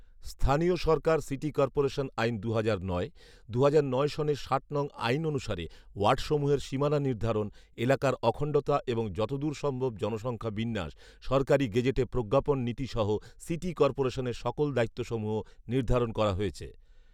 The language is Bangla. স্থানীয় সরকার সিটি কর্পোরেশন আইন, দুহাজার নয়, দুহাজার নয় সালের ষাট নং আইন অনুসারে ওয়ার্ডসমূহের সীমানা নির্ধারণ, এলাকার অখণ্ডতা এবং যতদূর সম্ভব, জনসংখ্যা বিন্যাস, সরকারি গেজেটে প্রজ্ঞাপন নীতি সহ সিটি কর্পোরেশনের সকল দায়িত্ব সমূহ নির্ধারণ করা হয়েছে